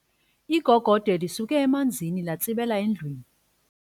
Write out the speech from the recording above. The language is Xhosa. Igogode lisuke emanzini latsibela endlwini.